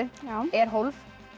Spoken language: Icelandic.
er hólf